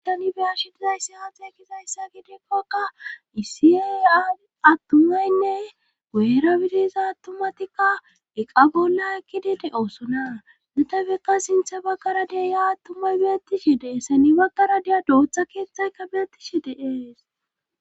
tani beya shi dizayssi haaxe ekizayssa gidekkoka isiaya attumaynne goyra bidiza attumatikka eqqa bolla ekkidi de7oosona netafekka sinthe baggara deya attumay beettishr dee'es baggara deya dootha keeththayka beettishi de'ees